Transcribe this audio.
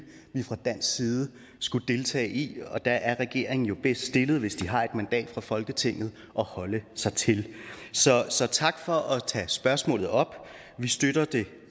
vi fra dansk side skulle deltage i og der er regeringen jo bedst stillet hvis de har et mandat fra folketinget at holde sig til så så tak for at tage spørgsmålet op vi støtter